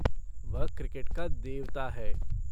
वह 'क्रिकेट का देवता' है।